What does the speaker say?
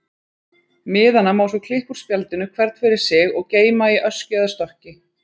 Miðana má svo klippa úr spjaldinu, hvern fyrir sig, og geyma í öskju eða stokki.